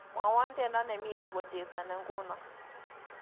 Mwawon tyendo nemito kochesani nguno